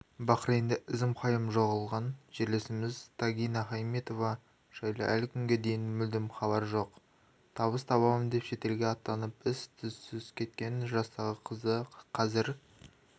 бахрейнде ізім-ғайым жоғалған жерлесіміз тагина хайтметова жайлы әлі күнге дейін мүлдем хабар жоқ табыс табамын деп шетелге аттанып із-түссізкеткен жастағы қыздықазір